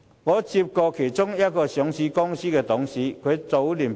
我曾接獲一間上市公司的董事投訴。